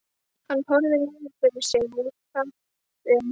Hann horfði niður fyrir sig og þagði um stund.